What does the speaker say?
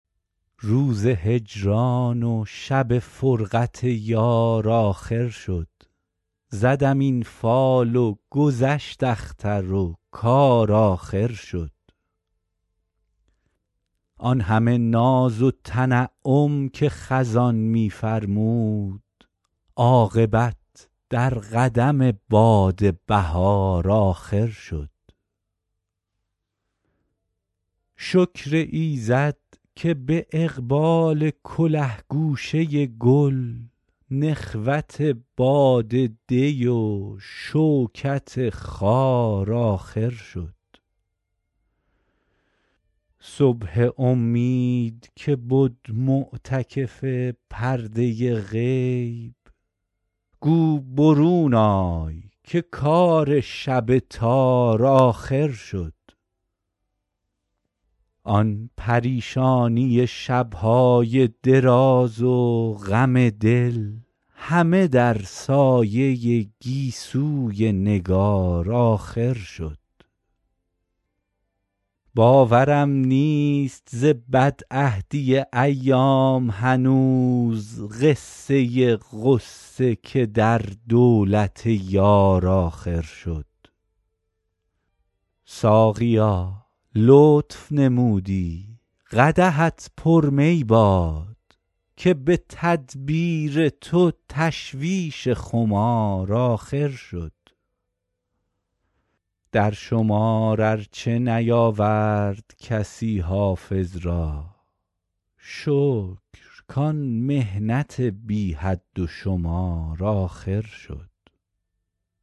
روز هجران و شب فرقت یار آخر شد زدم این فال و گذشت اختر و کار آخر شد آن همه ناز و تنعم که خزان می فرمود عاقبت در قدم باد بهار آخر شد شکر ایزد که به اقبال کله گوشه گل نخوت باد دی و شوکت خار آخر شد صبح امید که بد معتکف پرده غیب گو برون آی که کار شب تار آخر شد آن پریشانی شب های دراز و غم دل همه در سایه گیسوی نگار آخر شد باورم نیست ز بدعهدی ایام هنوز قصه غصه که در دولت یار آخر شد ساقیا لطف نمودی قدحت پر می باد که به تدبیر تو تشویش خمار آخر شد در شمار ار چه نیاورد کسی حافظ را شکر کان محنت بی حد و شمار آخر شد